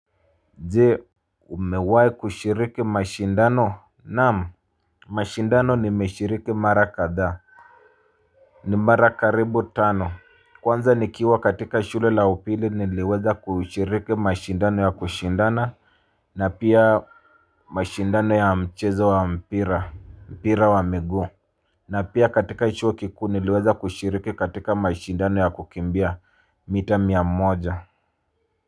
Je umewahi kushiriki mashindano naam. Mashindano nimeshiriki mara kadhaa. Ni mara karibu tano. Kwanza nikiwa katika shule la upili niliweza kushiriki mashindano ya kushindana na pia mashindano ya mchezo wa mpira wa mpira wa miguu na pia katika chuo kikuu niliweza kushiriki katika mashindano ya kukimbia mita mia moja.